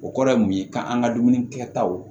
O kɔrɔ ye mun ye k'an ka dumuni kɛtaw